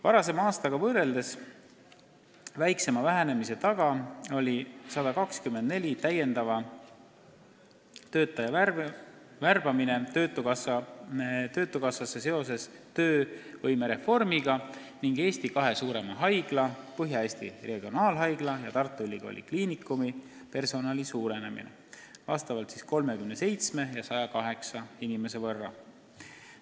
Varasema aastaga võrreldes väiksema vähenemise taga oli 124 täiendava töötaja värbamine töötukassasse seoses töövõimereformiga ning Eesti kahe suurima haigla, Põhja-Eesti Regionaalhaigla ja Tartu Ülikooli Kliinikumi personali suurenemine vastavalt 37 ja 108 inimese võrra.